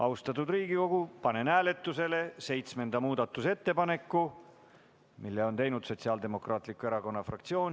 Austatud Riigikogu, panen hääletusele seitsmenda muudatusettepaneku, mille on teinud Sotsiaaldemokraatliku Erakonna fraktsioon.